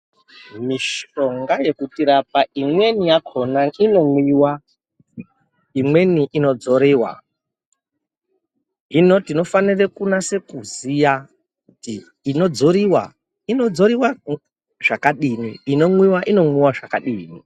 Mishonga inotirapa imweni yakhona inomwiwa, imweni inodzoriwa. Hino tinofanire kunase kuziya kuti inodzoriwa inodzoriwa zvakadini , inomwiwa inomwiwa zvakadini.